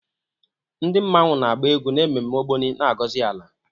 Ndi mmanwu na-agba egwu n'ememme Ogbóni, na-agọzi ala.